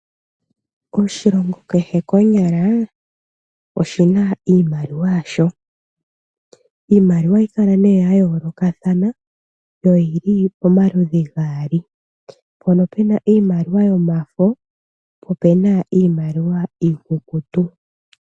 Oshilongo kehe konyala oshi na iimaliwa yasho. Iimaliwa ohayi kala ya yoolokathana yo oyi li pomaludhi gaali. Opuna iimaliwa yomafo osho wo iimaliwa iikukutu.